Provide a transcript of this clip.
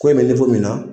Ko in bɛ min na